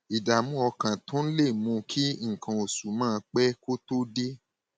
ìdààmú ọkàn tún lè mú kí nǹkan oṣù máa pẹ kó tó dé